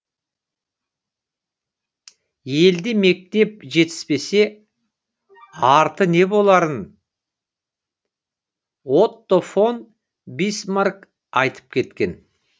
елде мектеп жетіспесе арты не боларын отто фон бисмарк айтып кеткен